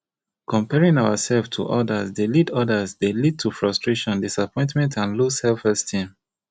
comparing ourselves to odas dey lead odas dey lead to frustration disappointment and low selfesteem